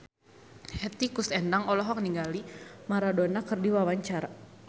Hetty Koes Endang olohok ningali Maradona keur diwawancara